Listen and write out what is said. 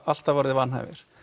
alltaf orðið vanhæfir